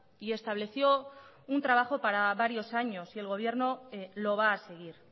y estableció un trabajo para varios años y el gobierno lo va a seguir